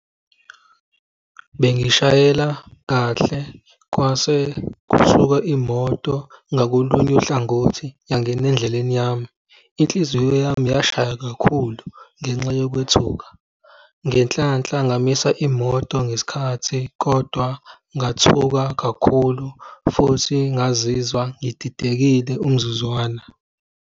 Bengishayela kahle kwase kusuka imoto ngakolunye uhlangothi yangena endleleni yami. Inhliziyo yami yashaya kakhulu ngenxa yokwethuka. Ngenhlanhla ngamisa imoto ngesikhathi kodwa ngathuka kakhulu futhi ngazizwa ngididekile umzuzwana.